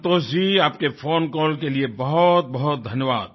संतोष जी आपके phone call के लिए बहुतबहुत धन्यवाद